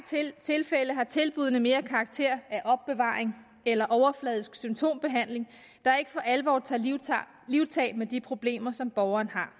tilfælde har tilbuddene mere karakter af opbevaring eller overfladisk symptombehandling der ikke for alvor tager livtag livtag med de problemer som borgeren har